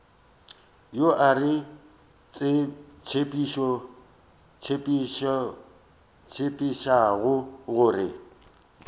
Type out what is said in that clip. yo a re tsebišago gore